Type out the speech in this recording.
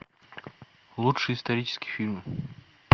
лучшие исторические фильмы